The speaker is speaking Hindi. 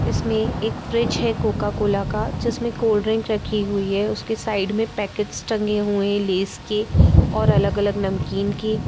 इसमें एक फ्रिज है कोका कोला का जिसमें कोल्ड ड्रिंक रखी हुई है उसके साइड में पैकेट्स टंगे हुए हैं लेस के और अलग अलग नमकीन के --